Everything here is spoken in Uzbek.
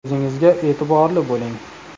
O‘zingizga e’tiborli bo‘ling!